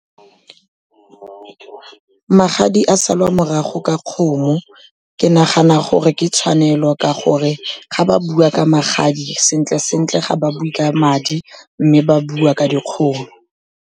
Magadi a salwa morago ka kgomo, ke nagana gore ke tshwanelo ka gore ga ba bua ka magadi sentle-sentle ga ba bue ka madi, mme ba bua ka dikgomo.